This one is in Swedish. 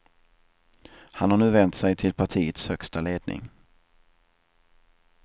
Han har nu vänt sig till partiets högsta ledning.